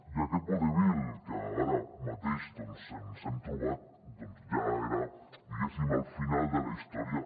i aquest vodevil que ara mateix ens hem trobat ja era diguéssim el final de la història